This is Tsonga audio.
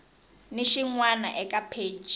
ni xin wana eka pheji